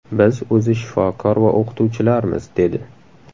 Biz o‘zi shifokor va o‘qituvchilarmiz”, dedi.